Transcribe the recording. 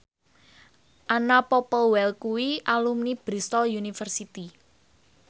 Anna Popplewell kuwi alumni Bristol university